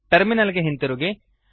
terminal ಗೆ ಹಿಂತಿರುಗಿ